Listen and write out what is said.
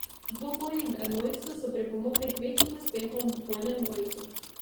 Dvoboji v enojcu so pripomogli k večjim uspehom v dvojnem dvojcu.